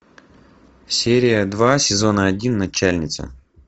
серия два сезона один начальница